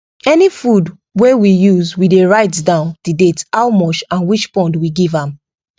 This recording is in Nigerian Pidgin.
any food wey we use we dey write down the date how much and which pond we give am